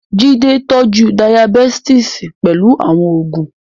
Jide tọ́jú Dayabítìsì pẹ̀lú àwọn oògùn.